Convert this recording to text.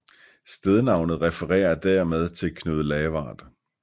Stednavnet refererer dermed til Knud Lavard